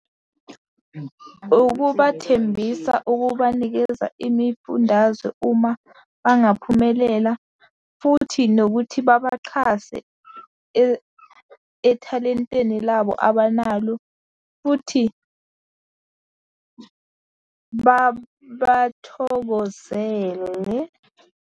Ukubathembisa ukubanikeza imifundazwe uma bangaphumelela, futhi nokuthi babaxhase ethalenteni labo abanalo, futhi bathokozele.